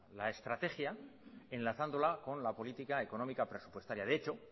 la estrategia enlazándola con la política económica presupuestaria de hecho